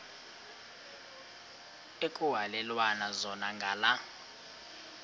ekuhhalelwana zona ngala